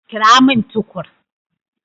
Kirowo min Tukur.